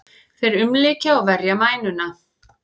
Þeir umlykja og verja mænuna.